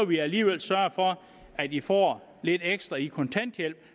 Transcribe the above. vi alligevel sørge for at i får lidt ekstra i kontanthjælp